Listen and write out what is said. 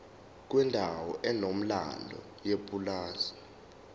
kwendawo enomlando yepulazi